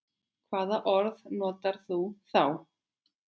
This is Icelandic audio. Hvaða orð notar þú þá?